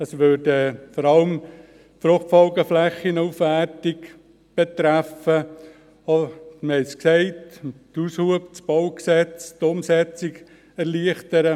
Diese beträfe vor allem die Aufwertung der Fruchtfolgeflächen, auch würde es mit dem BauG den Aushub erleichtern.